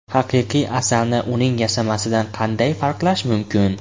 Haqiqiy asalni uning yasamasidan qanday farqlash mumkin?